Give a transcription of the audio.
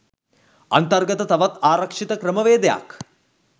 අන්තර්ගත තවත් ආරක්ෂිත ක්‍රමවේදයක්